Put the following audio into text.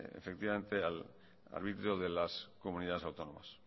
efectivamente al arbitrio de las comunidades autónomas